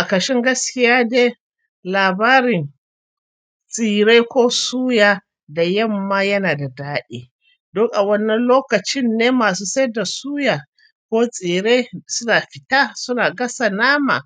A kashin gaskiya dai, labarin tsire ko suya da yamma yana da daɗi. Don a wannan lokacin ne masu saida suya ko tsire suna fita suna gasa nama,